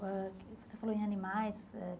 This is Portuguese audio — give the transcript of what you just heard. Ãh você falou em animais eh.